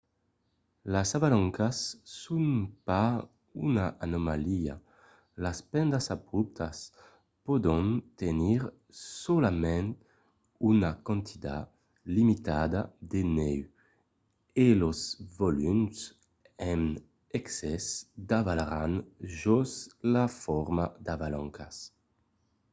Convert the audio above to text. las avalancas son pas una anomalia; las pendas abruptas pòdon tenir solament una quantitat limitada de nèu e los volums en excès davalaràn jos la forma d'avalancas